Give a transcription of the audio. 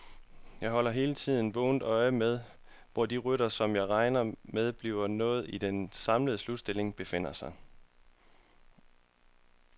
Jeg holder hele tiden vågent øje med, hvor de ryttere, som jeg regner med bliver noget i den samlede slutstilling, befinder sig.